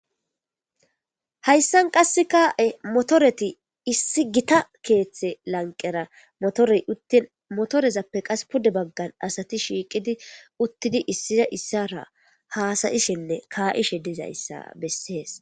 Haysan qaseka motoreti issi gitta keththa lanqera motorey uttin izappe qasi pude bagan shiqidi uttidi issisara hasayishene ka'ishe dizaysa beses